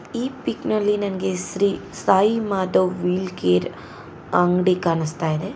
ಈ ಪಿಕ್ ನಲ್ಲಿ ನಂಗೆ ಶ್ರೀ ಸಾಯಿ ಮಾಧವ್ ವೀಲ್ ಕೇರ್ ಅಂಗಡಿ ಕಾಣುಸ್ತಾಯಿದೆ.